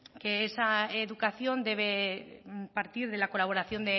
que esa educación debe partir de la colaboración